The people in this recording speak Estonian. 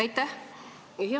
Aitäh!